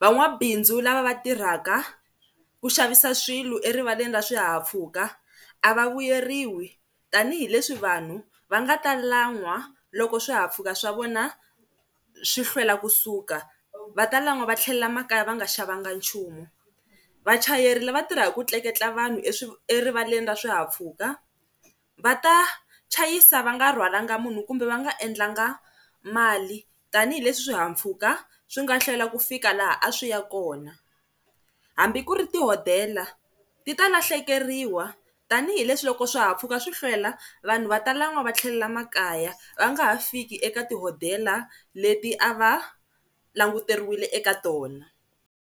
Va n'wabindzu lava va tirhaka ku xavisa swilo erivaleni ra swihahampfhuka a va vuyeriwi tanihileswi vanhu va nga ta lan'wa loko swihahampfhuka swa vona swi hlwela kusuka va ta lan'wa va tlhelela emakaya va nga xavanga nchumu. Vachayeri lava tirhaka ku tleketla vanhu erivaleni ra swihahampfhuka va ta chayisa va nga rhwalanga munhu kumbe va nga endlanga mali tanihileswi swihahampfhuka swi nga hlwela ku fika laha a swi ya kona. Hambi ku ri tihodela ti ta lahlekeriwa tanihileswi loko swihahampfhuka swi hlwela vanhu va tala lan'wa va tlhelela emakaya va nga ha fiki eka tihodela leti a va languteriwile eka tona.